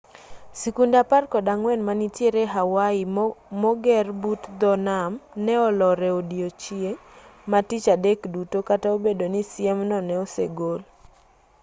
sikunde apar kod ang'wen manitiere hawaii moger but dho nam ne olor e odiechieng' ma tich adek duto kata obedo ni siemno ne osegol